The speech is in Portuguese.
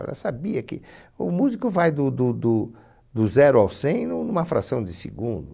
Ela sabia que o músico vai do do do do zero ao cem nu numa fração de segundo.